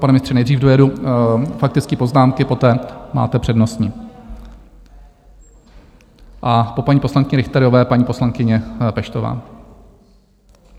Pane ministře, nejdřív dojedu faktické poznámky, poté máte přednostní, a po paní poslankyni Richterové paní poslankyně Peštová.